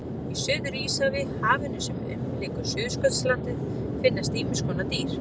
Í Suður-Íshafi, hafinu sem umlykur Suðurskautslandið, finnast ýmiss konar dýr.